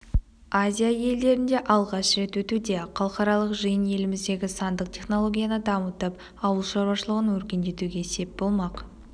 азия елдерінде алғаш рет өтуде халықаралық жиын еліміздегі сандық технологияны дамытып ауылшаруашылығын өркендетуге сеп болмақ